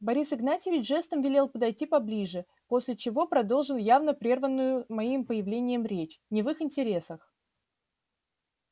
борис игнатьевич жестом велел подойти поближе после чего продолжил явно прерванную моим появлением речь не в их интересах